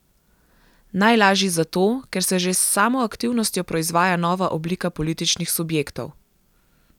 Najlažji zato, ker se že s samo aktivnostjo proizvaja nova oblika političnih subjektov.